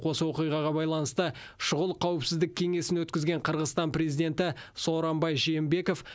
осы оқиғаға байланысты шұғыл қауіпсіздік кеңесін өткізген қырғызстан президенті сооронбай жээнбеков